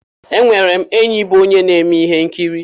Enwere m enyi bụ onye na-eme ihe nkiri.